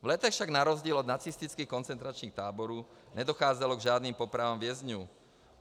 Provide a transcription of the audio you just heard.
V Letech však na rozdíl od nacistických koncentračních táborů nedocházelo k žádným popravám vězňů.